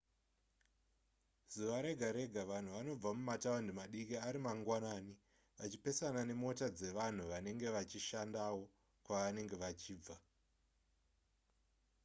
zuva rega rega vanhu vanobva mumataundi madiki ari mangwanani vachipesana nemota dzevanhu vanenge vachinoshandawo kwavangenge vachibva